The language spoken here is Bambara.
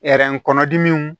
kɔnɔdimiw